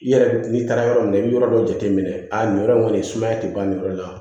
I yɛrɛ n'i taara yɔrɔ min na i bɛ yɔrɔ dɔ jateminɛ a nin yɔrɔ in kɔni sumaya tɛ ban nin yɔrɔ la